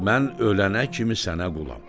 Mən ölənə kimi sənə qulam.